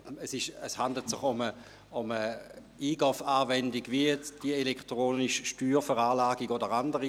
Es handelt sich um eine E-Gov-Anwendung wie jene der elektronischen Steuerveranlagung oder andere.